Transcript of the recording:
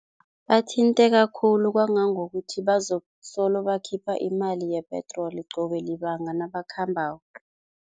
Bathinteka khulu kwangangokuthi bazokusolo bakhipha imali yepetroli qobe libanga nabakhambako.